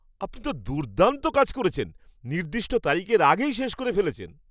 আপনি তো দুর্দান্ত কাজ করেছেন, নির্দিষ্ট তারিখের আগেই শেষ করে ফেলেছেন!